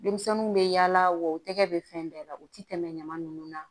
Denmisɛnninw bɛ yaala wa u tɛgɛ bɛ fɛn bɛɛ la u ti tɛmɛ ɲama nunnu na